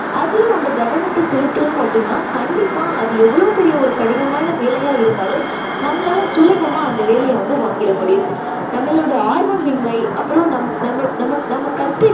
அதுல நம்ம கவனத்த செலுத்தினோம் அப்படின்னா கண்டிப்பா அது எவ்ளோ பெரிய கடினமான ஒரு வேலையா இருந்தாலும் நம்மளால சுலபமா அந்த வேலையை வந்து வாங்கிட முடியும்